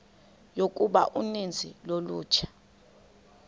yokuba uninzi lolutsha